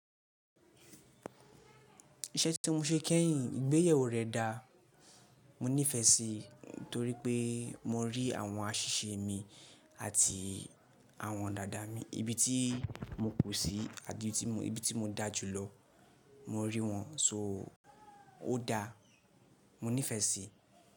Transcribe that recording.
Iṣẹ́ tí mọ ṣe kẹ́yìn ìgbéyewó rẹ̀ dà, mo nífẹ̀ẹ́ sí torí pé mọ rí àwọn àṣíṣe mi àti àwọn dàda mi, ibi tí mo kú sí àti ibi tí mo dá jùlọ mọ rí wọn, so ó dà, mo nífẹ̀ẹ́ sí.